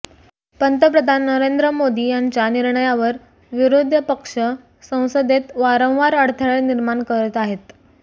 पंतप्रधान नरेंद्र मोदी यांच्या निर्णयावर विरोधी पक्ष संसदेत वारंवार अडथळे निर्माण करीत आहे